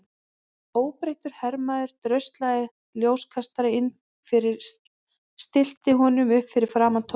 Óbreyttur hermaður dröslaði ljóskastara inn fyrir og stillti honum upp fyrir framan Thomas.